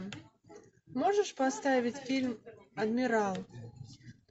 можешь поставить фильм адмирал